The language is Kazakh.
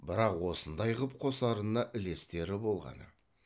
бірақ осындай қып қосарына ілестері болғаны